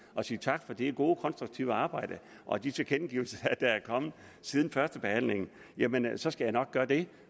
og sige tak for det gode konstruktive arbejde og de tilkendegivelser der er kommet siden førstebehandlingen jamen så skal jeg nok gøre det